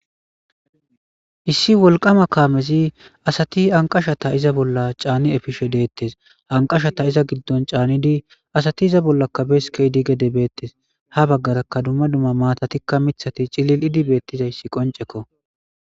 Issi wolqama kaamezi asati anqashata iza bolla caani efishe deettes. Anqashata iza giddon caanidi asati iza bollakkabes keydi gede beettes. Ha baggaraka dumma dumma maatatikka mithati cilil idi beettizayssi qoncekko.